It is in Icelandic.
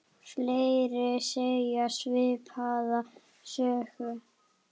Fleiri segja svipaða sögu.